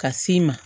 Ka s'i ma